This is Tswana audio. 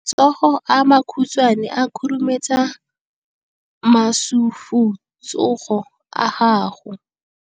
Matsogo a makhutshwane a khurumetsa masufutsogo a gago.